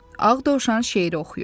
Ağ Dovşan şeiri oxuyurdu.